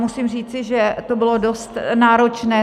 Musím říci, že to bylo dost náročné.